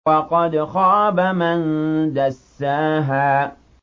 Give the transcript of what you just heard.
وَقَدْ خَابَ مَن دَسَّاهَا